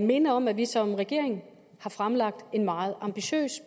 minde om at vi som regering har fremlagt en meget ambitiøs